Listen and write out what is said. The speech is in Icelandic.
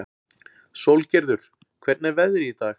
Sólgerður, hvernig er veðrið í dag?